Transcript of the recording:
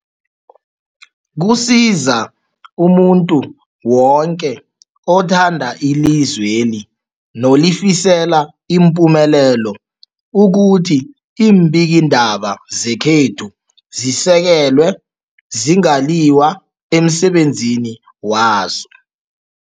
Kusiza umuntu woke othanda ilizweli nolifisela ipumelelo ukuthi iimbikiindaba zekhethu zisekelwe, zingaliywa emsebenzini wazo.